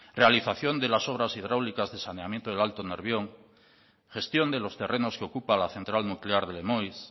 realización de las obras hidráulicas de saneamiento del alto nervión gestión de los terrenos que ocupa la central nuclear de lemoiz